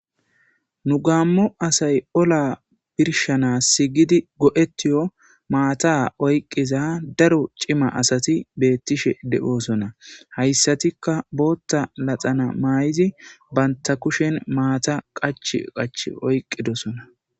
Nu gamo asay ola birshshanas gidi go'ettiyo maththa oyqiza daro cima asatti betishe de'ossona. Hayssatikka booththa naxxala mayidi banta kuushshen maththa qachchi qachchi oykiddisoona.